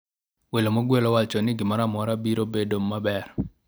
welo mogwel owacho ni gimoro amora biro bedo maber